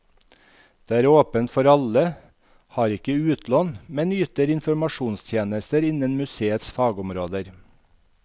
Det er åpent for alle, har ikke utlån, men yter informasjonstjenester innen museets fagområder.